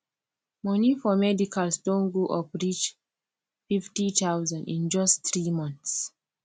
money for medicals don go up reach 50000 in just 3 months